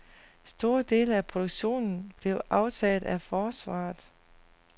Store dele af produktionen blev aftaget af forsvaret.